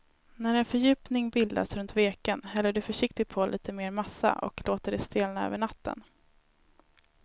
När en fördjupning bildats runt veken häller du försiktigt på lite mer massa och låter det stelna över natten.